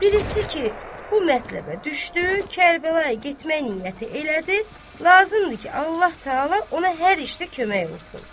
Birisi ki, bu mətləbə düşdü, Kərbəlaya getmək niyyəti elədi, lazımdır ki, Allah-Taala ona hər işdə kömək olsun.